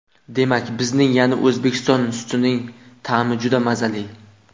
Demak, bizning, ya’ni O‘zbekiston sutining ta’mi juda mazali.